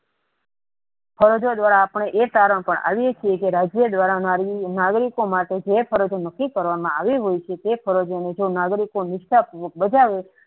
ફરજો દ્વારા આપણે એ સારાંશ પાર આવીયે છીએ કે રાજ્ય દ્વારા નાગરિકો માટે ફરજો નકી કરવામાં આવે છે તે ફરજો ની જેમ નાગરિકોમની બધા